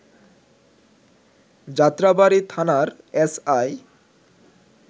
যাত্রাবাড়ী থানার S I